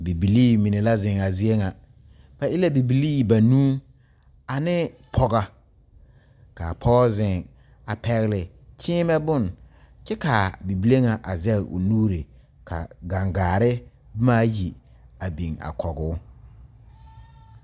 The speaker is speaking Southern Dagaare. Bibilii mine la zeŋ a zie ŋa, ba e la bibilii banuu ane pɔgega kaa pɔge zeŋ a pɛgle kyeemɛ bon kyɛ kaa bibile ŋa a zaŋ o nuure ka gaŋgaare boma ayi a biŋ a kɔge o.